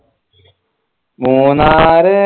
Munnar